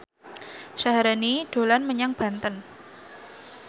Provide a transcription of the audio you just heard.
Syaharani dolan menyang Banten